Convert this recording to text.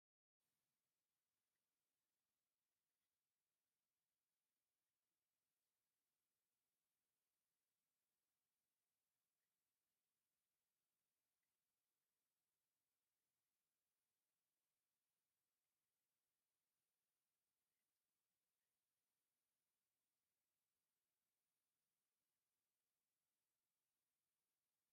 ውቁብን ባህላውን ዕዳጋ ሸኽላ ዘርኢ እዩ። ዝተፈላለዩ ፍርያት ሸኽላ ብጽቡቕ ተሰሪዖም ኣለዉ። ገሊኡ ብተፈጥሮኡ ቀይሕ ጭቃ ክኸውን ከሎ፡ ገሊኡ ድማ ጽቡቕ ጸሊምን ጻዕዳን ዲዛይን ኣለዎ። ብሓጺሩ ባህሊ ኢትዮጵያን ብሉጻት ኢደ ጥበብን ብስምዒት ዝገልጽ እዩ።